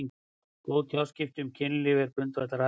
Góð tjáskipti um kynlíf eru grundvallaratriði fyrir gott kynlíf.